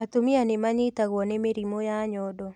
Atumia nĩ manyitagwo nĩ mĩrimũ ya nyondo